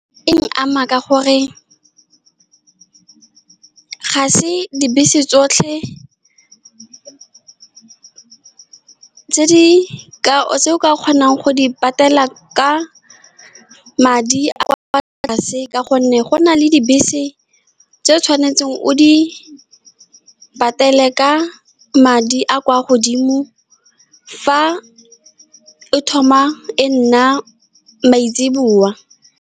E nkama ka gore ga se dibese tsotlhe tse ke ka tseo ka kgonang go di patela ka madi a a kwa tlase, ka gonne go na le dibese tse o tshwanetseng o di patele ka madi a a kwa godimo fa e thoma e nna .